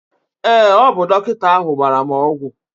ee, ọ bụ dọkịta ahụ gbara m ọgwụ